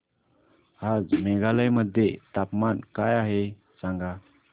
आज मेघालय मध्ये तापमान काय आहे सांगा